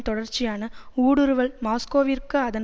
தொடர்ச்சியான ஊடுருவல் மாஸ்கோவிற்கு அதன்